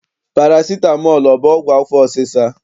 Parasitamọl ọ bụ ọgwụ afọ ọsịsa?